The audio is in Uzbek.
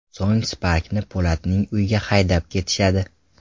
So‘ng Spark’ni Po‘latning uyiga haydab ketishadi.